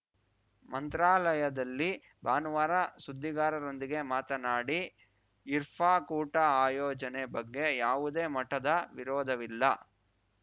ಮಂತ್ರಾಲಯದಲ್ಲಿ ಭಾನುವಾರ ಸುದ್ದಿಗಾರರೊಂದಿಗೆ ಮಾತನಾಡಿ ಇರ್ಫ ಕೂಟ ಆಯೋಜನೆ ಬಗ್ಗೆ ಯಾವುದೇ ಮಠದ ವಿರೋಧವಿಲ್ಲ